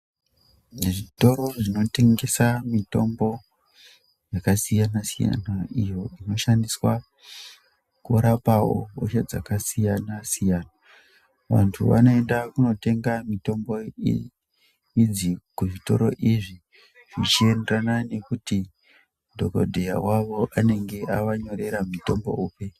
Muzvitora zvinotengesa mitombo yakasiyana siyana iyo inoshandiswawo kurapa hosha dzakasiyana-siyana, vantu vanoenda kunotenga mitombo idzi kuzvitoro izvi zvichienderana nekuti dhogodheya wavo wakavaningira, avanyorera mutombo upi.